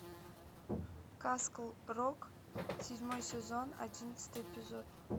касл рок седьмой сезон одиннадцатый эпизод